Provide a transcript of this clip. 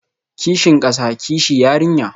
Kishin kasa, kishi yarinya